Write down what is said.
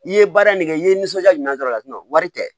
I ye baara in ne kɛ i ye nisɔndiya ɲuman d'a la wari tɛ